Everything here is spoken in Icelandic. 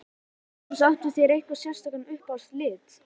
Magnús: Áttu þér einhverja sérstaka uppáhalds liti?